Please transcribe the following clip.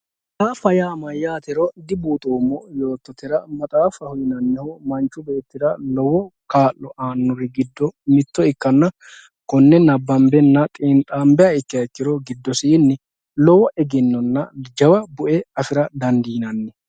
maxaafa yaa mayyaatero dibuuxoommo yoottotera maxaaffaho yinannihu manchi beettira lowo kaa'lo aannori giddo mitto ikkanna konne nabbambihanna xiinxaanbiha ikkiha ikkiro giddosiinni lowo egennonna jawa bu"e afira dandiinanni.